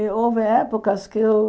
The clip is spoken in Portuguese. E houve épocas que eu...